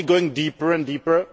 going deeper and deeper